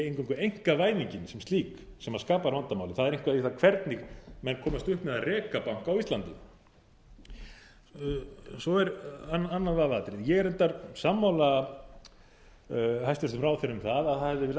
eingöngu einkavæðingin sem slík sem skapar vandamálið það er eitthvað við það hvernig menn komast upp með að reka banka á íslandi svo er annað vafaatriði ég er reyndar sammála hæstvirtum ráðherra um það að það hefði verið